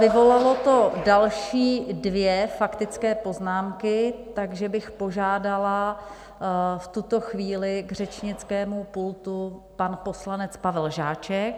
Vyvolalo to další dvě faktické poznámky, takže bych požádala v tuto chvíli k řečnickému pultu - pan poslanec Pavel Žáček.